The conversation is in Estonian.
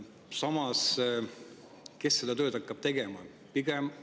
Samas, kes seda tööd hakkab tegema?